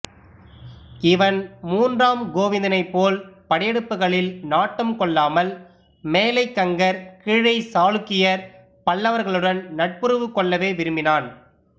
இவன் மூன்றாம் கோவிந்தனைப்போல் படையெடுப்புகளில் நாட்டம் கொள்ளாமல் மேலைக் கங்கர் கீழைச் சாளுக்கியர் பல்லவர்களுடன் நட்புறவு கொள்ளவே விரும்பினான்